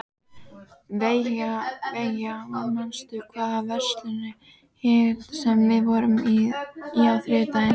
Veiga, manstu hvað verslunin hét sem við fórum í á þriðjudaginn?